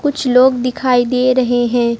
कुछ लोग दिखाई दे रहे हैं।